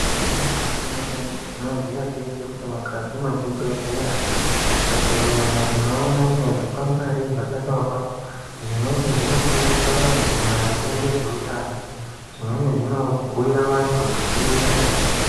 Igwinyiso remene-mene tinoziya teshe kuti mukati mwezvibhedhleya tikagumemo tinoona mune zvikwangwari zvakanyorwa. Zvimweni zvinofundisa vantu maringe nezveutano zvimweni zvinobhuira vantu kwekuenda